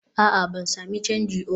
a'a, ban sami canji oh